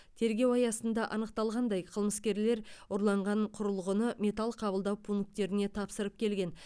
тергеу аясында анықталғандай қылмыскерлер ұрланған құрылғыны металл қабылдау пунктеріне тапсырып келген